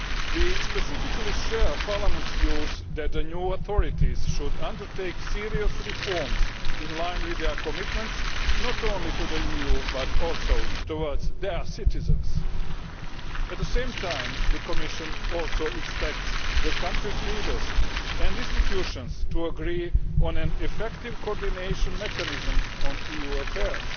We specifically share Parliament's view that the new authorities should undertake serious reforms, in line with their commitments not only to the EU but also towards their citizens. At the same time, the Commission also expects the country's leaders and institutions to agree on an effective coordination mechanism on EU affairs.